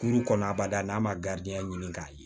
Kuru kɔnɔ abada n'a ma garan ɲini k'a ye